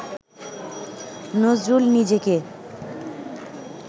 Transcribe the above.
নজরুল নিজেকে